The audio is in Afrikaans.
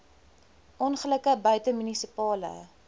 ongelukke buite munisipale